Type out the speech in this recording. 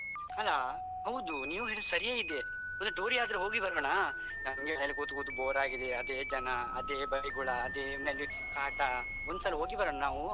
ಅಲಾ ಹೌದು ನೀವ್ ಹೇಳಿದು ಸರಿ ಇದೆ ಮತ್ತೆ tour ಯಾದ್ರೆ ಹೋಗಿ ಬರೋಣ ನಮ್ಗೆ ಮನೆಯಲ್ಲಿ ಕೂತು ಕೂತು ಬೋರಾಗಿದೆ ಅದೇ ಜನ ಅದೇ ಬೈಗುಳ ಅದೇ ಮನೆಯಲ್ಲಿ ಕಾಟ ಒಂದ್ಸಲಾ ಹೋಗಿ ಬರ್ವಾನ ನಾವು?